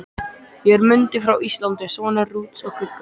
Ég er Mundi frá Íslandi, sonur Rúts og Guggu.